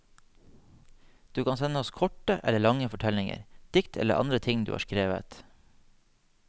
Du kan sende oss korte eller lange fortellinger, dikt eller andre ting du har skrevet.